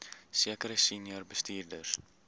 sekere senior bestuurders